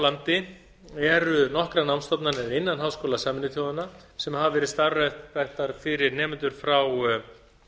landi eru nokkrar námsstofnanir innan háskóla sameinuðu þjóðanna sem hafa verið starfræktar fyrir nemendur frá